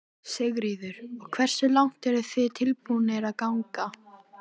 Þessa leyndardóma listarinnar þekkið þér eflaust miklu betur en ég.